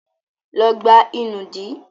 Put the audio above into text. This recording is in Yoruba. Lọ gbá ìnùdí!